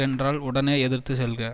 என்றால் உடனே எதிர்த்து செல்க